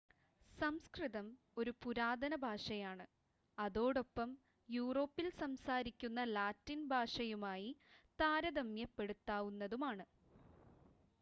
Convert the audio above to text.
സംസ്‌കൃതം ഒരു പുരാതന ഭാഷയാണ് അതോടൊപ്പം യൂറോപ്പിൽ സംസാരിക്കുന്ന ലാറ്റിൻ ഭാഷയുമായി താരതമ്യപ്പെടുത്താവുന്നതുമാണ്